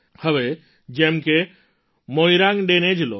હવે જેમ કે મોઇરાંગ ડેને જ લો